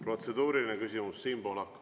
Protseduuriline küsimus, Siim Pohlak.